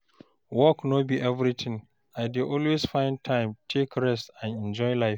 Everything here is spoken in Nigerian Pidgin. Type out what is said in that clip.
Work no be everything, I dey always find time take rest and enjoy life.